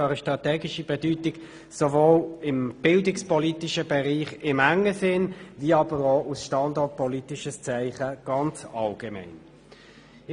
Dies sowohl im bildungspolitischen engen Sinn wie auch als standortpolitisches Zeichen im Allgemeinen.